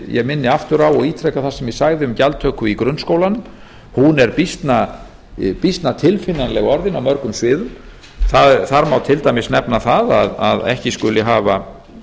ég minni aftur á og ítreka það sem ég sagði um gjaldtöku í grunnskólanum hún er býsna tilfinnanleg orðin á mörgum sviðum þar má til dæmis nefna það að ekki skuli hafa